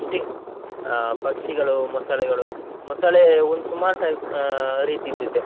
ಪಕ್ಷಿ, ಆ ಪಕ್ಷಿಗಳು ಮೊಸಳೆಗಳು, ಮೊಸಳೆ ಒಂದ್ ಸುಮಾರ್ type ಆ ರೀತಿದ್ದು ಇದೆ.